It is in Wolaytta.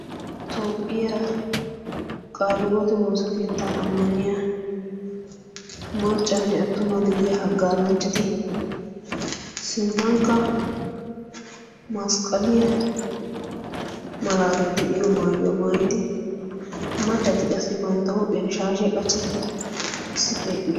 toophphiyaa qaaliwote woosa keettaa ammaniya maccanne attuma gidiya haggaazanchchati sinttankka masqqaliyaa malaatai de7iyo maayuwaa maayidi maccati qassi bantta huphiyan shaashiyaa qachchidi issippe eqqidosona.